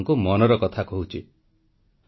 ନୂଆ ବର୍ଷର ଏବଂ ନୂଆ ଦଶନ୍ଧିର ମଧ୍ୟ ପ୍ରଥମ କାର୍ଯ୍ୟକ୍ରମ